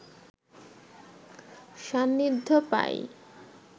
সান্নিধ্য পাই